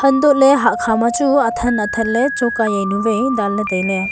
antohley hahkhah ma chu athan athanley choka yewnu wai danley tailey.